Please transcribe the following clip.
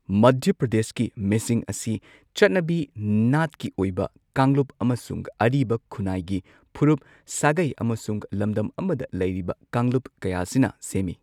ꯃꯙ꯭ꯌ ꯄ꯭ꯔꯗꯦꯁꯀꯤ ꯃꯤꯁꯤꯡ ꯑꯁꯤ ꯆꯠꯅꯕꯤ ꯅꯥꯠꯀꯤ ꯑꯣꯏꯕ ꯀꯥꯡꯂꯨꯞ ꯑꯃꯁꯨꯡ ꯑꯔꯤꯕ ꯈꯨꯟꯅꯥꯏꯒꯤ ꯐꯨꯔꯨꯞ, ꯁꯥꯒꯩ ꯑꯃꯁꯨꯡ ꯂꯝꯗꯝ ꯑꯃꯗ ꯂꯩꯔꯤꯕ ꯀꯥꯡꯂꯨꯞ ꯀꯌꯥꯁꯤꯅ ꯁꯦꯝꯃꯤ꯫